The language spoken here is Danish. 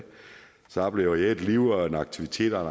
så oplever jeg et liv og en aktivitet og